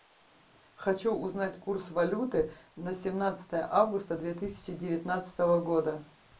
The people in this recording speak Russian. хочу узнать курс валюты на семнадцатое августа две тысячи девятнадцатого года